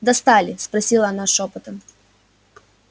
достали спросила она шёпотом